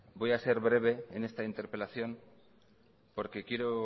voy a ser breve en esta interpelación porque quiero